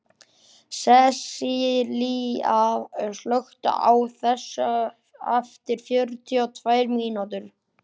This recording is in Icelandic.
Sessilía, slökktu á þessu eftir fjörutíu og tvær mínútur.